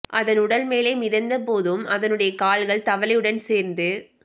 அதன் உடல் மேலே மிதந்த போதும் அதனுடைய கால்கள் தவளையுடன் சேர்த்து